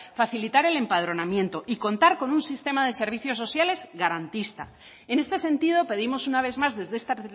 facilitar el empadronamiento y contar con un sistema de servicios sociales garantista en este sentido pedimos una vez más desde esta